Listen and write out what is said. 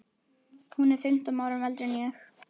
Hún er fimmtán árum eldri en ég.